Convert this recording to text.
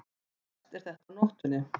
Verst er þetta á nóttunni.